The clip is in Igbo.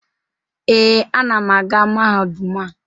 Ee, anam aga mahadum a.